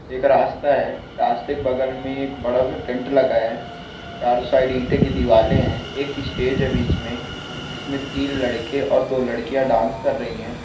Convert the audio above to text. एक रास्ता है रास्ता बगल में बडासा टेन्ट लगा है चार साइड ईंटे दीवारे है एक स्टेज है बिच मे इसमें तीन लडके और दो लडकिया डान्स कर रही है।